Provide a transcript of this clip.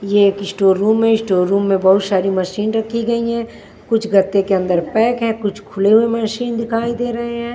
ये एक store room है स्टोर रूम में बहुत सारी मशीन रखी गई है कुछ गत्ते के अंदर पैक है कुछ खुले हुए मशीन दिखाई दे रहे हैं।